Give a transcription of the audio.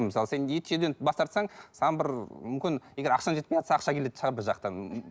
мысалы сен ет жеуден бас тартсаң саған бір мүмкін егер ақшаң жетпей жатса ақша келетін шығар бір жақтан